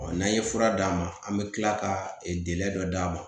Ɔ n'an ye fura d'a ma an bɛ tila ka dɔ d'a ma